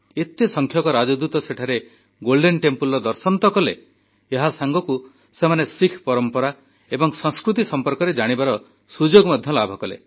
ଏତେ ସଂଖ୍ୟକ ରାଷ୍ଟ୍ରଦୂତ ସେଠାରେ ସ୍ୱର୍ଣ୍ଣ ମନ୍ଦିରର ଦର୍ଶନ ତ କଲେ ଏହାସାଙ୍ଗକୁ ସେମାନେ ଶିଖ୍ ପରମ୍ପରା ଏବଂ ସଂସ୍କୃତି ସମ୍ପର୍କରେ ଜାଣିବାର ସୁଯୋଗ ମଧ୍ୟ ପାଇଲେ